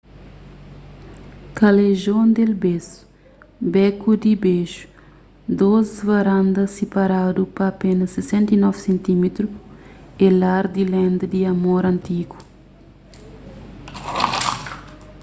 callejon del beso beku di beju. dôs varandas siparadu pa apénas 69 sentímetru é lar di lenda di amor antigu